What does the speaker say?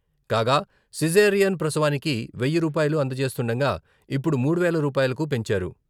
కాగా సిజేరియన్ ప్రసవానికి వెయ్యి రూపాయలు అందజేస్తుండగా ఇప్పుడు మూడు వేల రూపాయలకి పెంచారు.